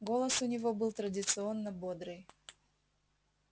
голос у него был традиционно бодрый